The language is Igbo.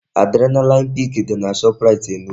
Adrenaline peak dị na Shoprite Enugu